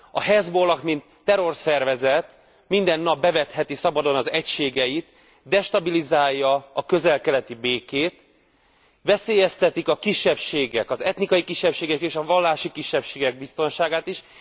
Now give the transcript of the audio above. A Hezbollah mint terrorszervezet minden nap bevetheti szabadon az egységeit, destabilizálja a közel keleti békét, veszélyeztetik a kisebbségek, az etnikai kisebbségek és a vallási kisebbségek biztonságát is.